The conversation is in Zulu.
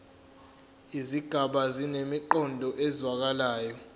izigaba zinemiqondo ezwakalayo